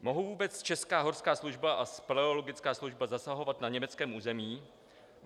Mohou vůbec česká horská služba a speleologická služba zasahovat na německém území?